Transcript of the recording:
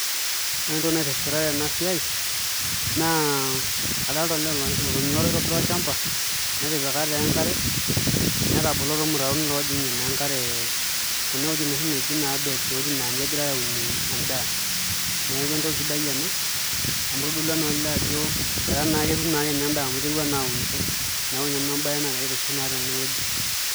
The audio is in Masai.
Ore entoki naitishipita tena siai naa adolita olee oitobirita olchamba netipika taa enkare netabolo irmutaron loojing'ie naa enkare kuna wuejitin naaji oshi beds naa ninye egirai aunie naa endaa, neeku entoki etipat ena amu itodolua naa olee ajo etaa naa ketum ake endaa amu iterua naa aunisho neeku ninye naa embaye naagira aitiship tenewueji.